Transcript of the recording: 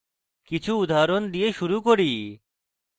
কিছু উদাহরণ দিয়ে শুরু করি